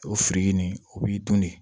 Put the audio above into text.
O firiki nin o b'i dun de